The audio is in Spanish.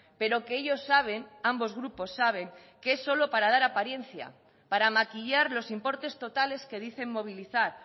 pero que ellos saben ambos grupos saben que es solo para dar apariencia para maquillar los importes totales que dicen movilizar